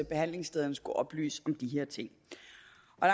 behandlingsstederne skulle oplyse